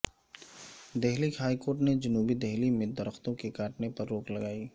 Delhi high court نے جنوبی دہلی میں درختوں کے کاٹنے پر روک لگائی